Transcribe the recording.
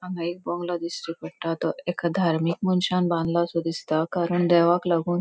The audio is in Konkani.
हांगा एक बंगलो दिष्टी पट्टा तो एका धार्मिक मनशान बानलासों दिसता कारण देवाक लागोन --